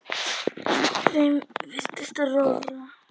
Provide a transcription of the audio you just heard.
Þeim virtist rórra.